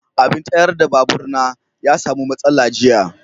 abin tayar da babur na ya samu matsala jiya.